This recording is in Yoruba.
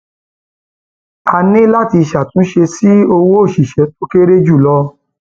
a ní láti ṣàtúnṣe sí owó òṣìṣẹ tó kéré jù lọ